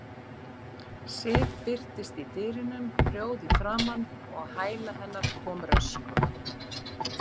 Sif birtist í dyrunum rjóð í framan og á hæla hennar kom Röskva.